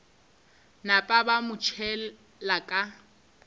napa ba mo tšhela ka